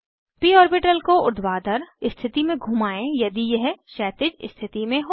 प ऑर्बिटल को ऊर्ध्वाधर स्थिति में घुमाएं यदि यह क्षैतिज स्थिति में हो